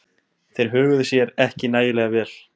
Þeir höguðu sér ekki nægilega vel.